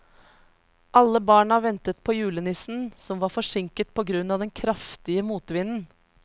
Alle barna ventet på julenissen, som var forsinket på grunn av den kraftige motvinden.